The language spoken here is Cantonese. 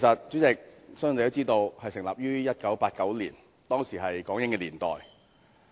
主席，大家都知道，中策組成立於1989年，當時是港英年代。